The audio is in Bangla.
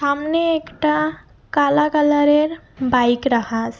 সামনে একটা কালা কালার -এর বাইক রাখা আসে।